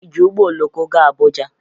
Ị ji ụgbọ oloko gaa Abuja?